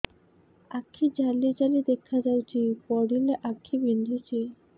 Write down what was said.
ଆଖି ଜାଲି ଜାଲି ଦେଖାଯାଉଛି ପଢିଲେ ଆଖି ବିନ୍ଧୁଛି